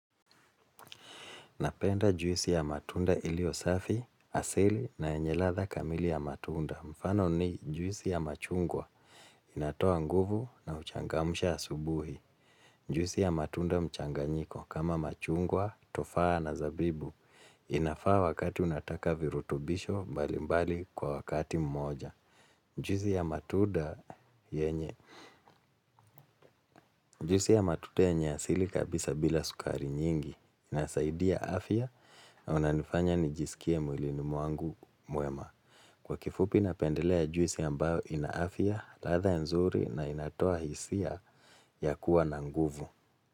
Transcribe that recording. Napenda juisi ya matunda ilio safi, asili na enye ladha kamili ya matunda. Mfano ni juisi ya machungwa inatoa nguvu na huchangamsha asubuhi. Juisi ya matunda mchanganyiko kama machungwa, tofaa na zabibu. Inafaa wakati unataka virutubisho mbali mbali kwa wakati mmoja. Juisi ya matunda yenye. Juisi ya matunda yenye asili kabisa bila sukari nyingi. Inasaidia afya na unanifanya nijisikie mwilini mwangu mwema. Kwa kifupi na pendelea juisi ambayo ina afya, ladha nzuri na inatoa hisia ya kuwa na nguvu.